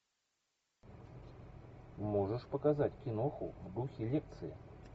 можешь показать киноху в духе лекции